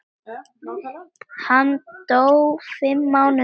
Hann dó fimm mánuðum síðar.